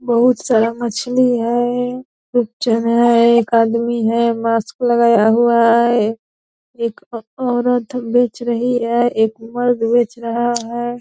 बहोत सारा मछली है पिक्चर में एक आदमी है मास्क लगाया हुआ है एक ओ औरत बेच रही है एक मर्द बेच रहा है।